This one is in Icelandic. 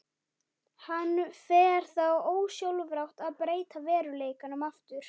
Hann fer þá ósjálfrátt að breyta veruleikanum aftur.